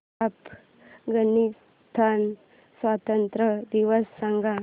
अफगाणिस्तान स्वातंत्र्य दिवस सांगा